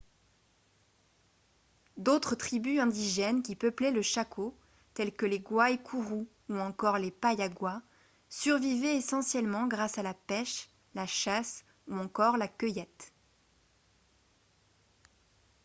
d'autres tribus indigènes qui peuplaient le chaco telles que les guaycurú ou encore les payaguá survivaient essentiellement grâce à la pêche la chasse ou encore la cueillette